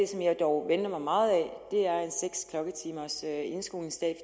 som jeg dog venter mig meget af er en seks klokketimers indskolingsdag